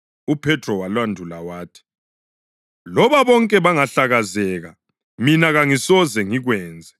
UPhethro walandula wathi, “Loba bonke bengahlakazeka, mina kangisoze ngikwenze.”